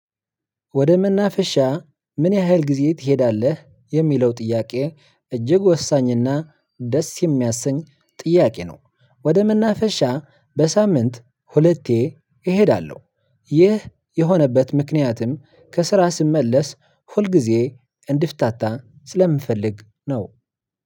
ወደ መናፈሻ ምን ያህል ጊዜ ትሄዳለህ? የሚለው ጥያቄ እጅግ ወሳኝና ደስ የሚያሰኝ ጥያቄ ነው። ወደ መናፈሻ በሳምንት ሁለቴ እሄዳለሁ። ይህ የሆነበት ምክንያትም ከስራ ስመለስ ሁልጊዜ እንድፍታታ ስለምፈልግ ነው።